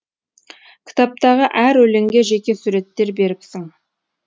кітаптағы әр өлеңге жеке суреттер беріпсің